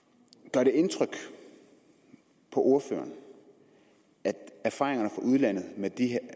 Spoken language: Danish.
gør det indtryk på ordføreren at erfaringerne fra udlandet